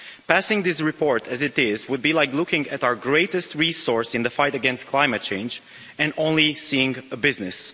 Passing this report as it is would be like looking at our greatest resource in the fight against climate change and only seeing a business.